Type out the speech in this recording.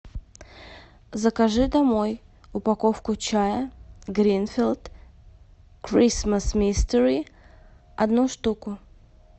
закажи домой упаковку чая гринфилд кристмас мистери одну штуку